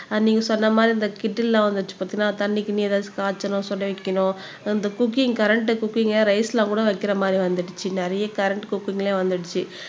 அஹ் நீங்க சொன்ன மாறி இந்த கிட்டு எல்லாம் வந்துருச்சு பாத்தீங்களா தண்ணி கிண்ணி ஏதாவது காய்ச்சணும் சுடவைக்கணும் இந்த குக்கிங் கரண்ட் குக்கிங் ரைஸ் எல்லாம் கூட வைக்கிற மாறி வந்துருச்சு நிறைய கரண்ட் குக்கிங்ல வந்துருச்சு